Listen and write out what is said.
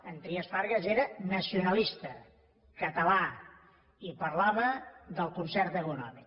en trias fargas era nacionalista català i parlava del concert econòmic